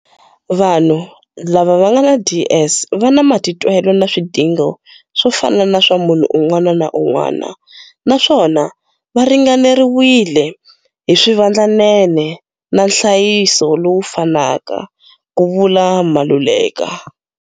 Vanhu lava va nga na DS va na matitwelo na swidingo swo fana na swa munhu un'wana na un'wana naswona va ringaneriwile hi swivandlanene na nhlayiso lowu fanaka, ku vula Maluleka.